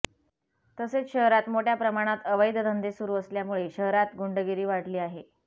तसेच शहरात मोठ्या प्रमाणात अवैध धंदे सुरू असल्यामुळे शहरात गुंडगिरी वाढली आहे